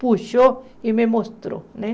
puxou e me mostrou, né?